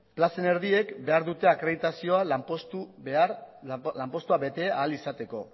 plazen erdiek behar dute akreditazioa lanpostua bete ahal izateko